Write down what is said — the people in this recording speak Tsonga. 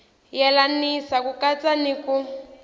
yelanisa ku katsa ni ku